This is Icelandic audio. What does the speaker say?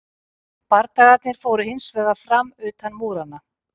Bardagarnir fóru hins vegar fram utan múranna.